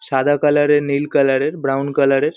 সাদা কালার -এর নীল কালার -এর ব্রাউন কালার -এর।